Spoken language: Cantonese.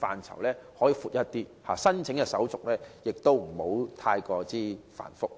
範疇則可稍為加大，申請手續亦不宜過於繁複。